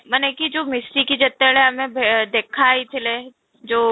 ମାନେ କି ଯଉ ମିଶିକି ଯେତେବେଳେ ଆମେ ଭେ ଦେଖା ହେଇଥିଲେ ଯଉ